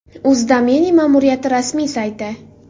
Uz domeni ma’muriyati rasmiy sayti.